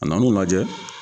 A nan'u lajɛ.